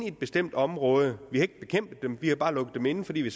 et bestemt område vi har ikke bekæmpet dem vi har bare lukket dem inde fordi vi